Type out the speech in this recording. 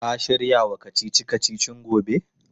Ka shirya wa kacici-kacicin gobe?